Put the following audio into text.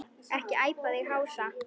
Ekki æpa þig hása!